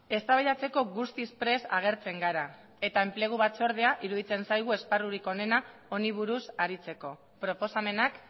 eztabaidatzeko guztiz prest agertzen gara eta enplegu batzordea iruditzen zaigu esparrurik onena honi buruz aritzeko proposamenak